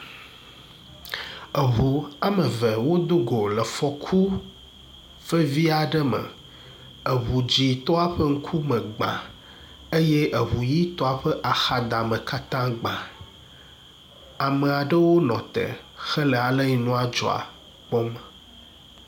Eŋu wɔme eve wodogo le fɔku vevi aɖe me. Eŋu dzitɔ ƒe ŋkume gbã eye eŋu ʋitɔa ƒe axadame katã gbã. Ame aɖewo nɔ tɔ hele aleyi nua dzɔa kpɔm.